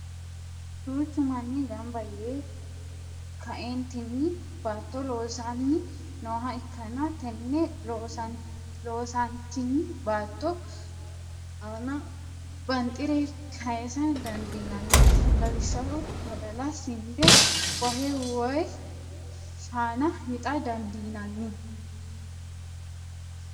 duuchu manni ganba yee ka'eennitinni baatto loosanni nooha ikanna tenne losantinni baatto aanna banxire kayisa dandiinanni lawishshaho badalla, sinde, wahe woyi shaana wixxa dandiinanni.